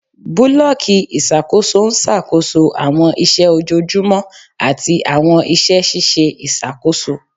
Bulọọki iṣakoso n ṣakoso awọn iṣẹ ojoojumọ ati awọn iṣẹ ṣiṣe iṣakoso